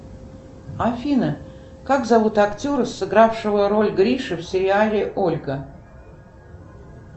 афина как зовут актера сыгравшего роль гриши в сериале ольга